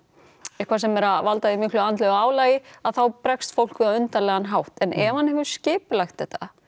eitthvað sem er að valda því miklu andlegu álagi þá bregst fólk við á undarlegan hátt en ef hann hefur skipulagt þetta